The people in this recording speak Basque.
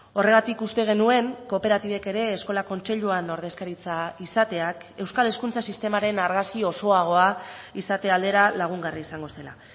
horregatik uste genuen kooperatibek ere eskola kontseiluan ordezkaritza izateak euskal hezkuntza sistemaren argazki osoagoa izate aldera lagungarri izango zela